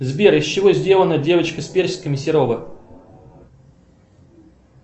сбер из чего сделана девочка с персиками серова